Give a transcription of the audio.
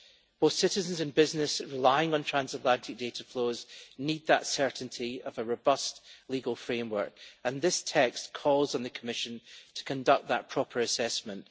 Both citizens and businesses relying on transatlantic data flows need that certainty of a robust legal framework, and this text calls on the Commission to conduct that proper assessment.